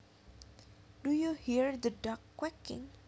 Do you hear the ducks quacking